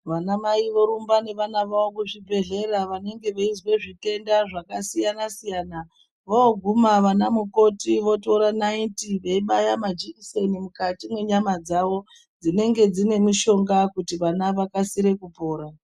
Vanamai worumba nevana wavo kuzvibhedhlera vanenge veizwe zvitenda zvakasiyana siyana. Vooguma vanamukoti votora naiti weibaya majikiseni mukati mwenyama dzavo dzinenge dziine mushonga kuti vana vakasire kupora